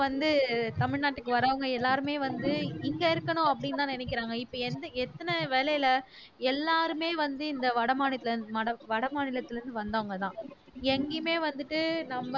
வந்து தமிழ்நாட்டுக்கு வர்றவங்க எல்லாருமே வந்து இங்க இருக்கணும் அப்படின்னுதான் நினைக்கிறாங்க இப்ப எந்த எத்தன வேலையில எல்லாருமே வந்து இந்த வடமாநில வட மாநிலத்தில இருந்து வந்தவங்கதான் எங்கேயுமே வந்துட்டு நம்ம